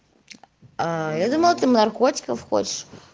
а я думала ты наркотиков хочешь